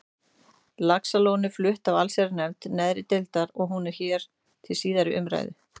Laxalóni er flutt af allsherjarnefnd neðri deildar og hún er hér til síðari umræðu.